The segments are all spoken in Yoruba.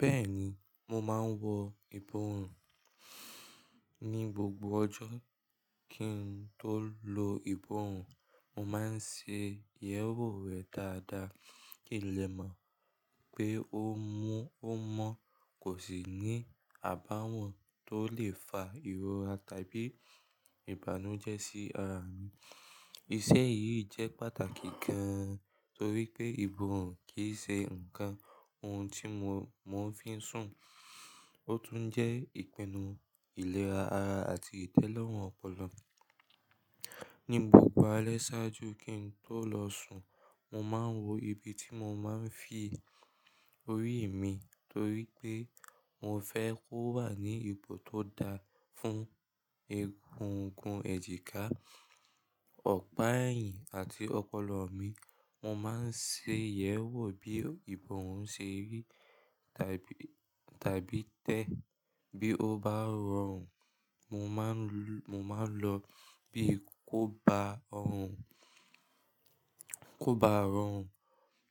Bẹ́ẹ̀ni, mo máa ń wọ iborùn ní gbogbo ọjọ́ kí n tó lo iborùn. Mo máa ń ṣe ìyẹ̀wò rẹ̀ dáadáa, ki ì le mọ̀ pé ó mú ó mọ́, kò sì ní àbáwọ̀n tó lè fa ìrora tàbí ìbànújẹ́ sí ara mi. Iṣẹ́ yìí jẹ́ pàtàkì gan-an torí pé iborùn kì í ṣe nǹkan ohun tí mo, mo fi ń sùn, ó tún jẹ́ ìpinnu ìlera ara àti ìtẹ́lọ́rùn ọpọlọ. Ni gbogbo alẹ́ ṣáájú kí n tó lọ sùn, mo máa ń wo ibi tí mo máa ń fi orí mi torí pé mo fẹ́ kó wà ní ipo tó da fún egungun ẹjika, ọ̀pá ẹ̀yìn àti ọpọlọ mi. Mo máa ń ṣe ìyẹ̀wò bí ìbọ̀wọ́ ń ṣe rí tàbí, tàbí tẹ́. Bí ó bá rọrùn, mo máa ń lọ, mo máa ń lọ bí kò bá rọrùn, kò bá rọrùn,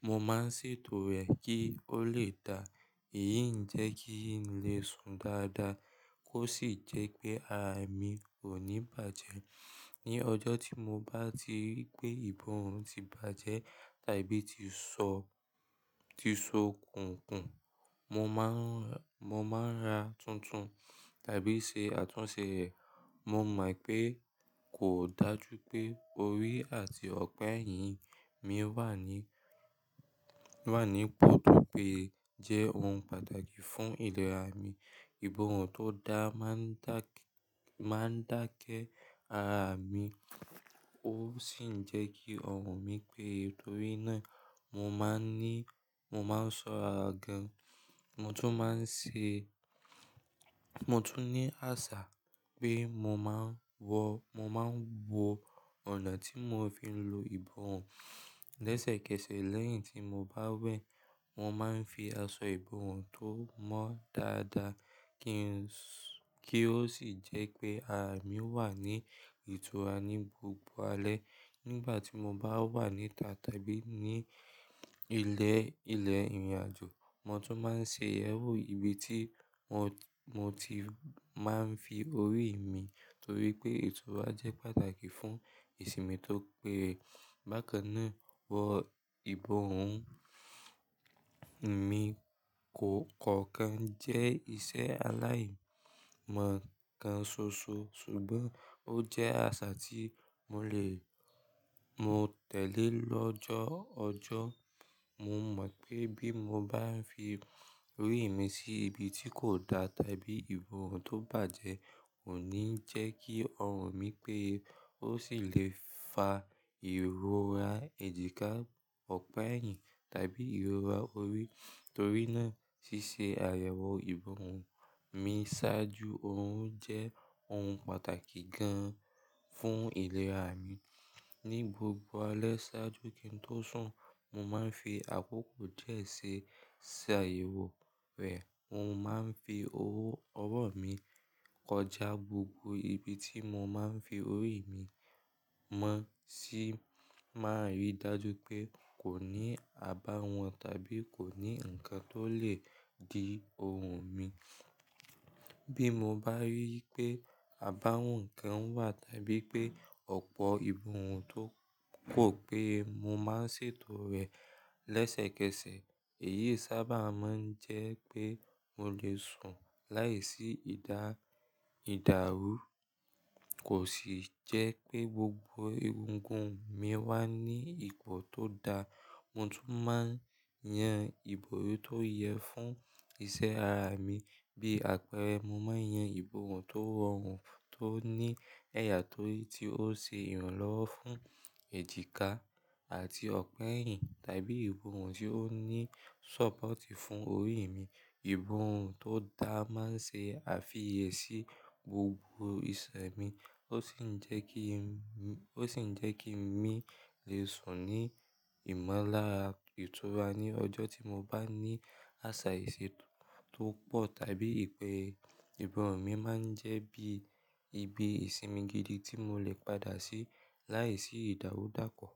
mo máa ń ṣètò rẹ̀ kí ó lè dà. Èyí ń jẹ́ kí n lè sùn dáadáa kó sì jẹ́ pé ara mi kò ní bàjẹ́. Ni ọjọ́ tí mo bá ti rí pé ìborùn ti bàjẹ́ tàbí ti so, ti so kùnkùn, mo máa ń, mo máa ń ra tuntun tàbí ṣe àtúnṣe rẹ̀. Mo mọ̀ pé kò dájú pé orí àti ọ̀pá ẹ̀yìn mi wà ní, wà ní ipo tó péé jẹ́ ohun pàtàkì fún ìlera mi. Ìbọ̀wọ́ tó dára máa ń dá, máa ń dákẹ́ ara mi, ó sì ń jẹ́ kí ọrùn mí pé torí náà mo máa ń ní, mo máa ń ṣọ ara gan. Mo tún máa ń ṣe, mo tún ní àṣà pé mo máa ń wọ, mo máa ń wo ọ̀nà tí mo fi ń lo ìbọ̀wọ́ lẹ́sẹ̀kẹsẹ̀ lẹ́yìn tí mo bá wẹ. Mo máa ń fi aṣọ ìbọ̀wọ́ tó mọ́ dáadáa kí ń, kí ó sì jẹ́ pé ara mi wà ní ìtura ní gbogbo alẹ́. Nígbà tí mo bá wà níta tàbí ní ilẹ̀, ilẹ̀ ìrìnàjò, mo tún máa ń ṣe ìyẹ̀wò ibi tí mo ti, mo ti máa ń fi orí mi torí pé ìtura jẹ́ pàtàkì fún ìsinmi tó péye. Bákan náà, wọ ìbọ̀wọ́ mi kò kankan jẹ́ iṣẹ́ aláyìnmo kan ṣoṣo ṣùgbọ́n ó jẹ́ àṣà tí mo lè, mo tẹ̀lé lọ́jọ́ọjọ́. Mo mọ̀ pé bí mo bá ń fi orí mi sí ibi tí kò da tàbí ìbọ̀wọ́ tó bàjẹ́ Kò ní jẹ́ kí ọrùn mí pé ó sì lè fa ìrora ẹjika, ọ̀pá ẹ̀yìn tàbí ìrora orí. Torí náà ṣíṣe àyẹ̀wò ìbọ̀wọ́ mi ṣáájú òun jẹ́ ohun pàtàkì gan-an fún ìlera mi. Ni gbogbo alẹ́ ṣáájú kí n tó sùn, mo máa ń fi àkókò díẹ̀ ṣe, ṣe àyẹ̀wò rẹ̀. Mo máa ń fi owó ọwọ́ mi kọjá gbogbo ibi tí mo máa ń fi orí mi mọ́ ṣí má rí dájú pé kò ní àbáwọ̀n tàbí kò ní nǹkan tó lè dí ọrùn mi. Bí mo bá rí pé àbáwọ̀n kan wà tàbí pé ọ̀pọ̀ ìbọ̀wọ́ tó pọ̀ pé mo máa ń ṣètò rẹ̀ lẹ́sẹ̀kẹsẹ̀. Èyí sábà máa ń jẹ́ pé mo lè sùn láìsí ìdá, ìdàrú, kò sì jẹ́ pé gbogbo egungun mi wà ní ipo tó da. Mo tún máa ń yan ìbò tó yẹ fún iṣẹ́ ara mi. Bí àpẹẹrẹ, mo máa ń yan ìbọ̀wọ́ tó rọrùn, tó ní ẹ̀yà tó yí tí ó ṣe ìrànlọ́wọ́ fún ẹjika àti ọ̀pá ẹ̀yìn tàbí ìbọ̀wọ́ tí ó ní sọ́pọ̀tì fún orí mi. Ìbọ̀wọ́ tó dá máa ń ṣe àfiyèsí gbogbo ìṣẹ̀ mi, ó sì ń jẹ́ kí ń, ó sì ń jẹ́ kí mi lè sùn ní ìmọ̀lára ìtura ní ọjọ́ tí mo bá ní àṣà ìṣe tó pọ̀ tàbí ìpẹ́ ẹ. Ìbọ̀wọ́ mi máa ń jẹ́ bí ibi ìsinmi gidi tí mo lè padà sí láìsí ìdàrú dàpọ̀.